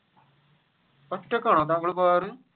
ഒറ്റക്കാണോ താങ്കൾ പോകാർ